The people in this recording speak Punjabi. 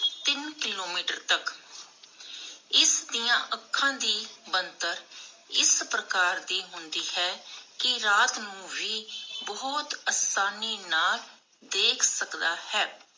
ਤਿਨ ਕਿਲੋਮੀਟਰ ਤਕ. ਇਸਦੀਆਂ ਅੱਖਾਂ ਦੀ ਬਣਤਰ ਇਸ ਪ੍ਰਕਾਰ ਦੀ ਹੁੰਦੀ ਹੈ ਕਿ ਰਾਤ ਨੂੰ ਵੀ ਬਹੁਤ ਆਸਾਨੀ ਨਾਲ ਦੇਖ ਸਕਦਾ ਹੈ